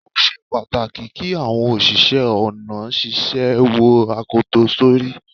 Ó ṣe pàtàkì kí àwọn òṣìṣẹ́ ọ̀nà ṣíṣe wo akoto sórí.